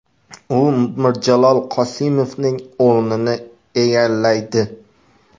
U Mirjalol Qosimovning o‘rnini egallaydi.